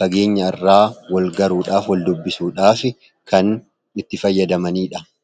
fageenya irraa walgaruudhaaf, wal dubbisuudhaaf kan itti fayyadamanii dha.